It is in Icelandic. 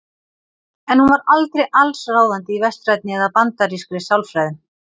En hún var aldrei allsráðandi í vestrænni eða bandarískri sálfræði.